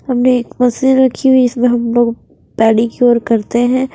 हमने एक मशीन रखी हुई इसमें हम लोग पाढ़ी क्योर करते हैं।